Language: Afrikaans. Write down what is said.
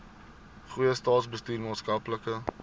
goeie staatsbestuur maatskaplike